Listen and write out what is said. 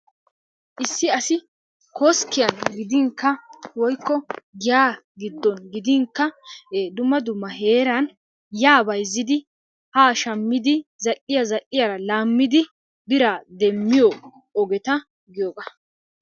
Issi asi koskkiyaan gidinkka woykko giyaa giddon gidinkka dumma dumma heeran yaa bayzzidi haa shaammidi zal"iyaa zal"iyaara laamidi biraa deemmiyoo ogeta giyogaa.